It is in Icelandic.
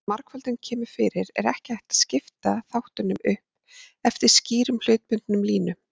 Þegar margföldun kemur fyrir er ekki hægt að skipta þáttunum upp eftir skýrum hlutbundnum línum.